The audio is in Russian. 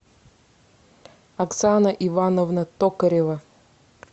оксана ивановна токарева